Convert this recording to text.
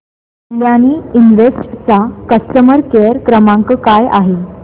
Kalyani invest चा customer care क्रमांक काय आहे